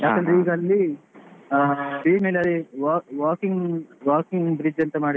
ಅಲ್ಲಿ wa~ walking walking bridge ಅಂತ ಮಾಡಿದ್ರು.